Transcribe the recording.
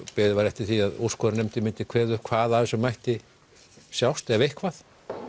beðið var eftir því að úrskurðarnefndin myndi kveða upp hvað af þessu mætti sjást ef eitthvað